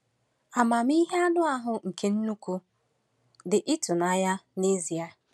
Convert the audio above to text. Amamihe anụ ahụ nke nnụnụ dị ịtụnanya n'ezie.